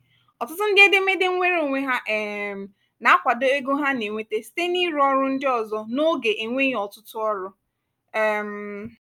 ọtụtụ ndị edemede nweere onwe ha um na-akwado ego ha na-enweta site n'ịrụ ọrụ ndị ọzọ n'oge enweghị ọtụtụ ọrụ. um